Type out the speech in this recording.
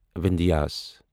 وِندھیٖس